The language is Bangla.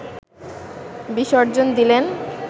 বিসর্জন দিলেন